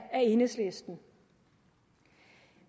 enhedslisten